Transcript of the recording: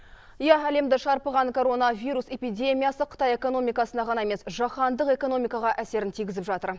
иә әлемді шарпыған коронавирус эпидемиясы қытай экономикасына ғана емес жаһандық экономикаға әсерін тигізіп жатыр